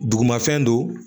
Dugumafɛn don